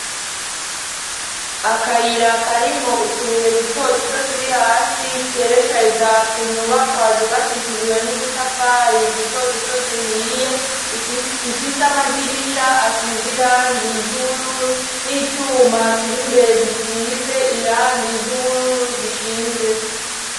Akayira karimwo utubuye duto duto turi hasi kerekeza kunyubakwa zubakishijwe n'udutafari duto duto duhiye ifise amadirisha asize irangi ry'ubururu n'icuma kiri mbere gisize irangi ry'ubururu gishinze.